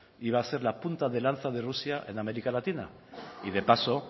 iba a ser la punta de lanza de rusia en américa latina y de paso